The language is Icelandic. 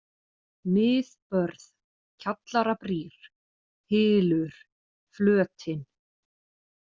Miðbörð, Kjallarabrýr, Hylur, Flötin